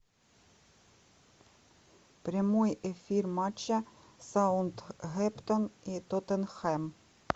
прямой эфир матча саутгемптон и тоттенхэм